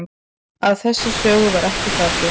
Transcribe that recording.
Á þessa sögu var ekki fallist